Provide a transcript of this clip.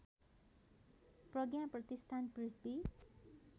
प्रज्ञा Pratishthan पृथ्वी